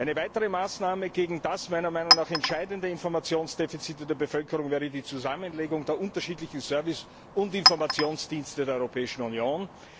Eine weitere Maßnahme gegen das meiner Meinung nach entscheidende Informationsdefizit der Bevölkerung wäre die Zusammenlegung der unterschiedlichen Service und Informationsdienste der Europäischen Union.